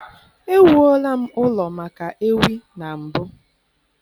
Ewuola m ụlọ maka ewi na mbụ.